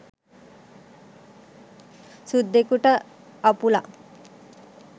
සුද්දෙකුට අපුලක්.